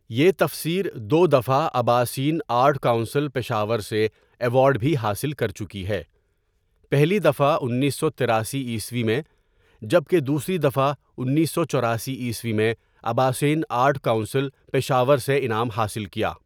یہ تفسیردو دفعہ اباسین آرٹ کونسل پشاور سے ایوارڈ بھی حاصل کرچکی ہے پہلی دفعہ انیس سو تراسی عیسوی میں جب کہ دوسری دفعہ انیس سو چوراسی عیسوی میں اباسین آرٹ کونسل پشاورسے انعام حاصل کی.